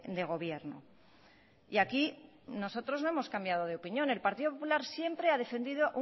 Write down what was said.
de gobierno y aquí nosotros no hemos cambiado de opinión el partido popular siempre ha defendido